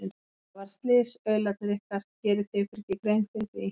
Það varð slys, aularnir ykkar, gerið þið ykkur ekki grein fyrir því?